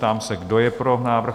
Ptám se, kdo je pro návrh?